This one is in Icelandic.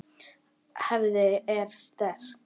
Hefðin er sterk.